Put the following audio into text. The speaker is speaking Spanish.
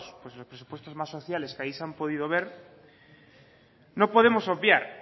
los presupuestos más sociales que ahí se han podido ver no podemos obviar